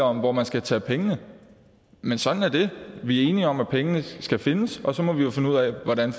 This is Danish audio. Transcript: om hvor man skal tage pengene men sådan er det vi er enige om at pengene skal findes og så må vi jo finde ud af hvordan